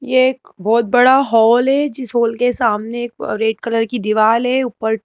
ये एक बहुत बड़ा हॉल है जिस हॉल के सामने एक रेड कलर की दीवाल है ऊपर।